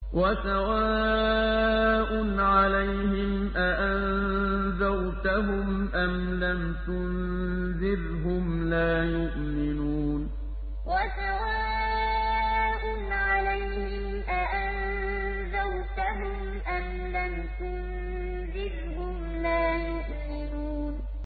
وَسَوَاءٌ عَلَيْهِمْ أَأَنذَرْتَهُمْ أَمْ لَمْ تُنذِرْهُمْ لَا يُؤْمِنُونَ وَسَوَاءٌ عَلَيْهِمْ أَأَنذَرْتَهُمْ أَمْ لَمْ تُنذِرْهُمْ لَا يُؤْمِنُونَ